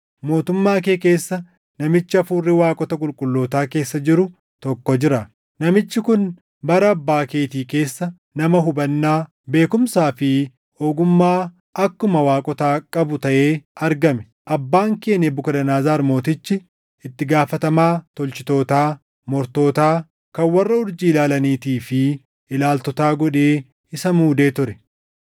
Mootummaa kee keessa namichi hafuurri waaqota qulqullootaa keessa jiru tokko jira. Namichi kun bara abbaa keetii keessa nama hubannaa, beekumsaa fi ogummaa akkuma waaqotaa qabu taʼee argame. Abbaan kee Nebukadnezar Mootichi, itti gaafatamaa tolchitootaa, mortootaa, kan warra urjii ilaalaniitii fi ilaaltotaa godhee isa muudee ture.